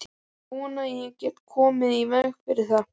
Ég vona ég geti komið í veg fyrir það.